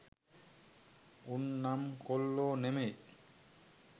උන් නම් කොල්ලෝ නෙමෙයි